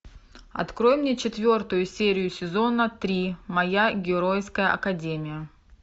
открой мне четвертую серию сезона три моя геройская академия